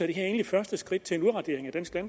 egentlig første skridt